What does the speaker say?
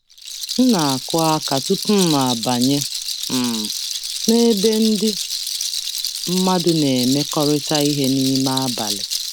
M na-akụ aka tupu m abanye um n'ebe ndị mmadụ na-emekọrịta ihe n'ime abalị.